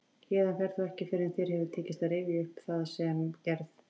Héðan ferð þú ekki fyrr en þér hefur tekist að rifja upp það sem gerð